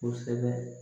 Kosɛbɛ